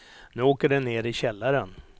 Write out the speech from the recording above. Nu åker den ner i källaren.